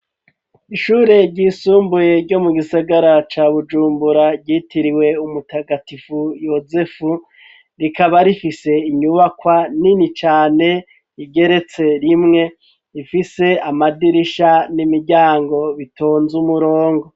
Ishure ry'isumbuye ryo mu gisagara ca bujumbura ryitiriwe umutagatifu yosefu rikaba rifise inyubakwa nini cane igeretse rimwe ifise amadirisha n'imiryango bitonze umurongo.